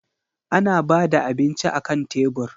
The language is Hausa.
Ana ba da abinci akan tebur.